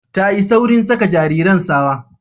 Tayi saurin saka jariran sawa